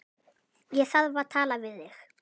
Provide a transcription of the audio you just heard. Ég þarf að tala við þig.